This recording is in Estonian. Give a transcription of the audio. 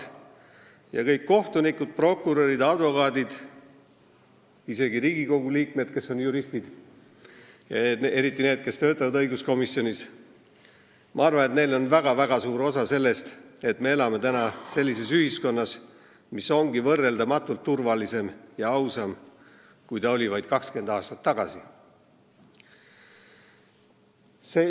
Ma arvan, et kõigil kohtunikel, prokuröridel ja advokaatidel, isegi Riigikogu liikmetel, kes on juristid, ja eriti nendel, kes töötavad õiguskomisjonis, on väga suur osa selles, et me elame täna sellises ühiskonnas, mis on võrreldamatult turvalisem ja ausam, kui ta oli vaid 20 aastat tagasi.